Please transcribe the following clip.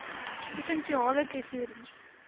provinsiale tesourie